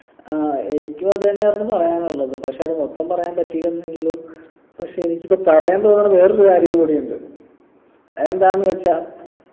ആഹ് എനിക്കും അത് തന്നെയായിരുന്നു പറയാനുള്ളത് പക്ഷെ അത് മൊത്തം പറയാൻ പറ്റില്ലെന്നേ ഉള്ളു പക്ഷെ എനിക്കിപ്പൊ പറയാൻ തോന്ന്ണ വേറൊരു കാര്യം കൂടിയുണ്ട് അതെന്താ ന്ന് വെച്ചാ